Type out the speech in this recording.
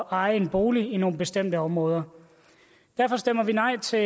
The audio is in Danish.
eje en bolig i nogle bestemte områder derfor stemmer vi nej til